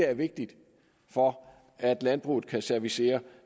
er vigtigt for at landbruget kan servicere